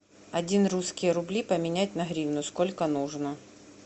один русские рубли поменять на гривну сколько нужно